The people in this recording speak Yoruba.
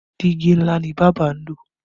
Diigi ńlá ni bábà ń lò